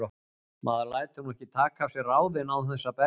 Maður lætur nú ekki taka af sér ráðin án þess að berjast.